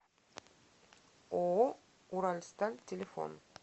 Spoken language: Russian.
ооо уралсталь телефон